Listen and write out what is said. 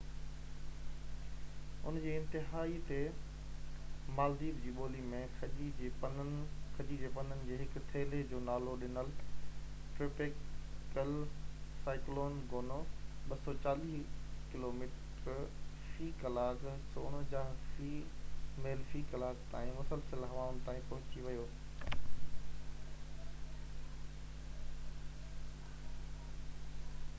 ان جي انتها تي، مالديپ جي ٻولي ۾ کجيءَ جي پنن جي هڪ ٿيلي جو نالو ڏنل، ٽروپيڪل سائيڪلون گونو، 240 ڪلوميٽر في ڪلاڪ 149 ميل في ڪلاڪ تائين مسلسل هوائن تائين پهچي ويو